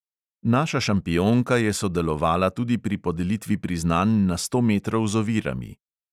Naša šampionka je sodelovala tudi pri podelitvi priznanj na sto metrov z ovirami.